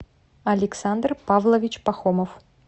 александр павлович пахомов